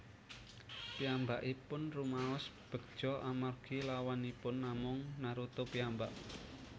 Piyambakipun rumaos begja amargi lawanipun namung Naruto piyambak